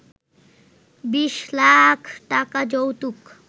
২০ লাখ টাকা যৌতুক